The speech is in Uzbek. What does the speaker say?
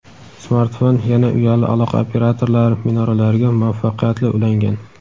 smartfon yana uyali aloqa operatorlari minoralariga muvaffaqiyatli ulangan.